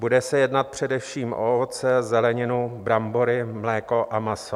Bude se jednat především o ovoce, zeleninu, brambory, mléko a maso.